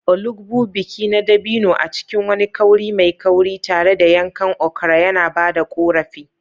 Olugbu, biki na dabino a cikin wani kauri mai kauri, tare da yankan okra yana ba da ƙorafi.